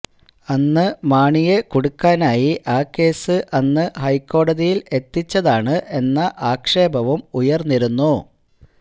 അന്ന് മാണിയെ കുടുക്കാനായി ആ കേസ് അന്ന് ഹൈക്കോടതിയിൽ എത്തിച്ചതാണ് എന്ന ആക്ഷേപവും ഉയർന്നിരുന്നു